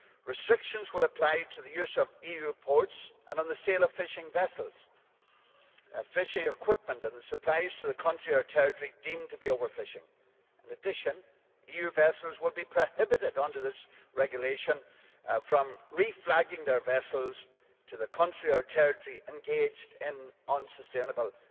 Restrictions will apply to the use of EU ports and on the sale of fishing vessels, fishing equipment and the supplies to the country or territory deemed to be overfishing. In addition, EU vessels will be prohibited under this regulation from reflagging their vessels to the country or territory engaged in unsustainable